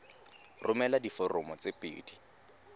romela diforomo di le pedi